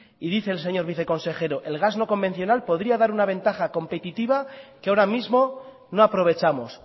y dice el señor viceconsejero el gas no convencional podría dar una ventaja competitiva que ahora mismo no aprovechamos